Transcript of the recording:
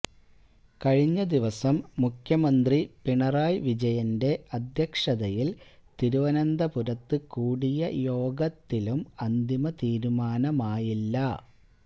കഴിഞ്ഞ ദിവസം മുഖ്യമന്ത്രി പിണറായി വിജയന്റെ അദ്ധ്യഷതയില് തിരുവന്തപുരത്ത് കൂടിയ യോഗത്തിലും അന്തിമ തീരുമാനമായില്ല